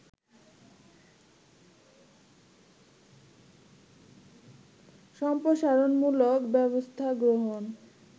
সম্প্রসারণমূলক ব্যবস্থা গ্রহণ